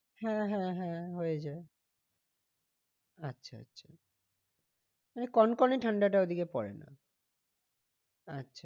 হ্যাঁ হ্যাঁ হ্যাঁ হয়ে যায় আচ্ছা আচ্ছা মানে কন কনে ঠান্ডাটা ওদিকে পরে না আচ্ছা